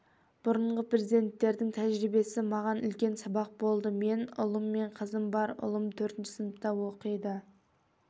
бұрынғы президенттердің тәжірибесі маған үлкен сабақ болды менің ұлым мен қызым бар ұлым төртінші сыныпта оқиды